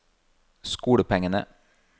skolepengene